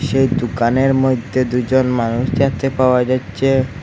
সেই দুকানের মইধ্যে দুইজন মানুষ দেখতে পাওয়া যাচ্চে ।